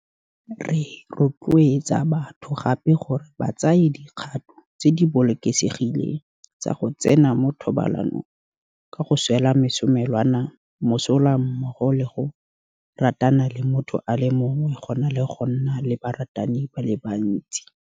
Re rotloetsa batho gape gore ba tsaye dikgato tse di bolokesegileng tsa go tsena mo thobalanong ka go swela mesomelwana mosola mmogo le go ratana le motho a le mongwe go na le go nna le baratani ba le bantsi.